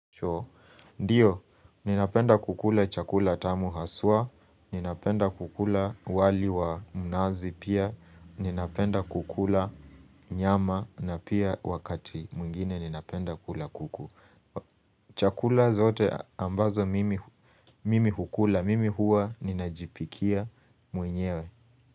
Ndiyo, ninapenda kukula chakula tamu hasa, ninapenda kukula wali wa nazi pia, ninapenda kukula nyama na pia wakati mwingine ninapenda kukula kuku. Chakula zote ambazo mimi hukula, mimi huwa ninajipikia mwenyewe.